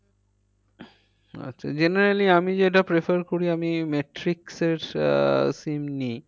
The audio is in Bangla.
আচ্ছা generally আমি যেটা prefer করি আমি matrix এর আহ SIM নিই ও